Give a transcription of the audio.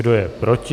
Kdo je proti?